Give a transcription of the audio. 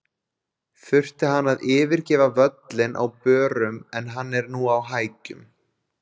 Þurfti hann að yfirgefa völlinn á börum en hann er nú á hækjum.